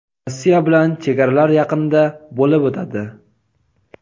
Rossiya bilan chegaralar yaqinida bo‘lib o‘tadi.